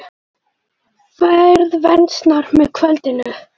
Færð versnar með kvöldinu